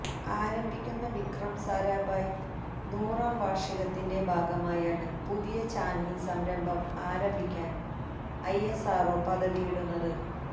ആരംഭിക്കുന്ന വിക്രം സാരാഭായ് നൂറാം വാര്ഷികത്തിന്റെ ഭാഗമായാണ് പുതിയ ചാനല് സംരംഭം ആരംഭിക്കാന് ഐഎസ്ആര്ഒ പദ്ധതിയിടുന്നത്